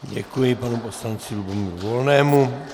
Děkuji panu poslanci Lubomíru Volnému.